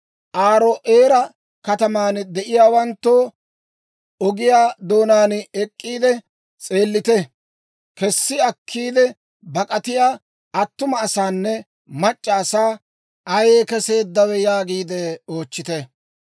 «Aaro'eera kataman de'iyaawanttoo, ogiyaa doonaan ek'k'iide s'eellite; kessi akkiide bak'atiyaa attuma asaanne mac'c'a asaa, ‹Ayee kesseeddawe?› yaagiide oochchite.